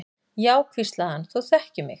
Já, hvíslaði hann, þú þekkir mig.